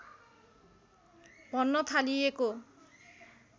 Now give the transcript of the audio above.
भन्न थालिएको